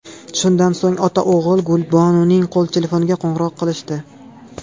Shundan so‘ng ota-o‘g‘il Gulbonuning qo‘l telefoniga qo‘ng‘iroq qilishdi.